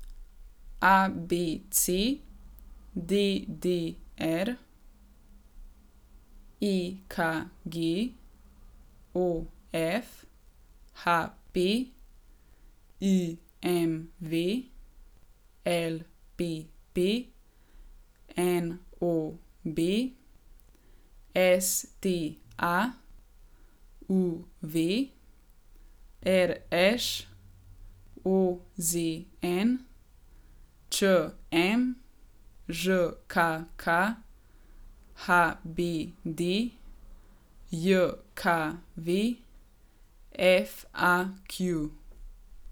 ABC, DDR, EKG, OF, HP, IMV, LPP, NOB, STA, UV, RŠ, OZN, ČM, ŽKK, HBDJKV, FAQ.